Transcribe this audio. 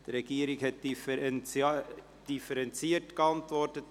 Die Regierung hat differenziert geantwortet.